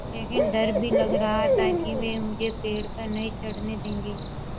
लेकिन डर भी लग रहा था कि वे मुझे पेड़ पर नहीं चढ़ने देंगे